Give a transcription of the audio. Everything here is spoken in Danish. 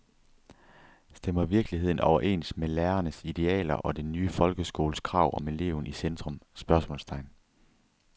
Stemmer virkeligheden overens med lærernes idealer og den nye folkeskoles krav om eleven i centrum? spørgsmålstegn